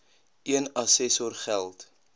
een assessor geld